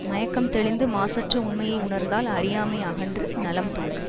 மயக்கம் தெளிந்து மாசற்ற உண்மையை உணர்ந்தால் அறியாமை அகன்று நலம் தோன்றும்